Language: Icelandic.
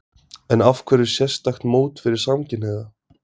En af hverju sérstakt mót fyrir samkynhneigða?